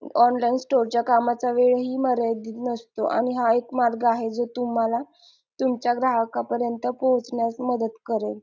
Online store च्या कामाचाही वेळ मर्यादित नसतो आणि हा एक मार्ग आहे जो तुम्हाला तुमच्या ग्राहका परीयंत पोहोचण्यास मदत करेल.